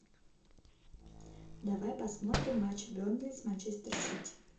давай посмотрим матч бернли с манчестер сити